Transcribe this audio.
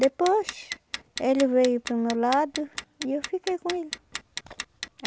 Depois, ele veio para o meu lado e eu fiquei com ele.